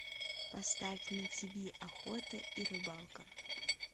поставь на тиви охота и рыбалка